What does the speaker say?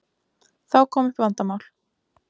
Þá kom upp vandamál.